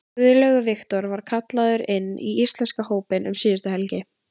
Guðlaugur Victor var kallaður inn í íslenska hópinn um síðustu helgi.